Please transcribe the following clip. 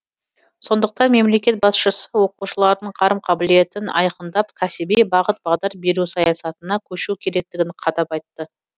сондықтан мемлекет басшысы оқушылардың қарым қабілетін айқындап кәсіби бағыт бағдар беру саясатына көшу керектігін қадап айтты